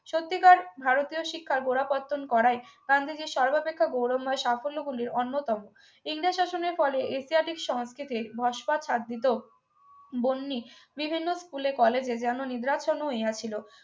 সত্যিকারের ভারতীয় শিক্ষার গোড়াপত্তন করায় গান্ধীজীর সর্বাপেক্ষা গৌরবময় সাফল্যগুলির অন্যতম ইংলিশ শাসনের ফলে এশিয়াটিক সংস্কৃতির ভাস্কর সাদিত বন্নি বিভিন্ন school এ college এ যেন নিদ্রাচ্ছন্ন হইয়াছিল